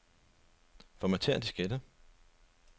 Formatér diskette.